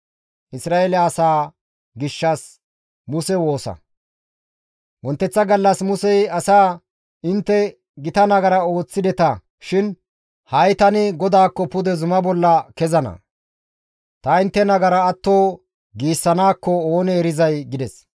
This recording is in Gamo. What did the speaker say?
Wonteththa gallas Musey asaa, «Intte gita nagara ooththideta shin ha7i tani GODAAKKO pude zumaa bolla kezana; ta intte nagara atto giissanaakko oonee erizay» gides.